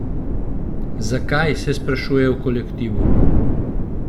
Zakaj, se sprašujejo v kolektivu.